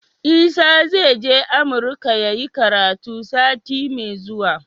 Isa zai je amurka yayi karatu sati me zuwa